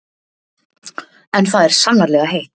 En það er sannarlega heitt.